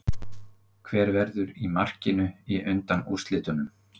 Hver verður í markinu í undanúrslitunum?